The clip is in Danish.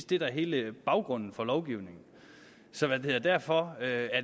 det der er hele baggrunden for lovgivningen så derfor er